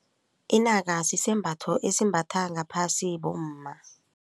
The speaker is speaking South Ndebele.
Inaka sisembatho esimbatha ngaphasi bomma.